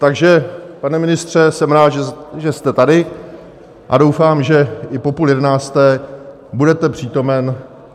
Takže pane ministře , jsem rád, že jste tady, a doufám, že i po půl jedenácté budete přítomen.